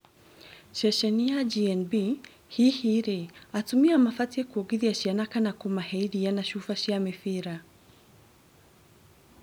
Ceceni ya GNB, hihi rĩ atumia mabatie kwongithia ciana kana kũmahe iria na cuba cia mibira?